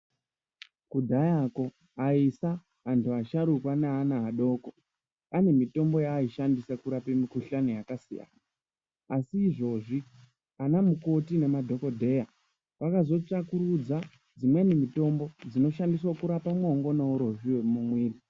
Kudhayako aisa, antu asharukwa neana adoko anemitombo yaaishandisa kurape mikuhlani yakasiyana. Asi izvozvi anamukoti nemadhogodheya vakazotsvakurudza dzimweni mitombo dzinoshandiswa kurapa mwongo nourozvi hwemumuiri.